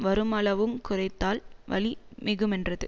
வருமளவுங் குறைந்தால் வலி மிகுமென்றது